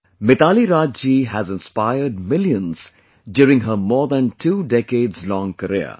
Mitali Raj ji has inspired millions during her more than two decades long career